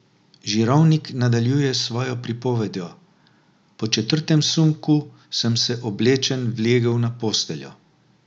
Žirovnik nadaljuje s svojo pripovedjo: "Po četrtem sunku sem se oblečen vlegel na posteljo.